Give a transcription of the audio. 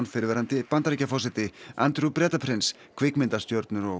fyrrverandi Bandaríkjaforseti Bretaprins kvikmyndastjörnur og